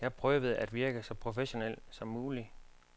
Jeg prøvede at virke så professionel som muligt.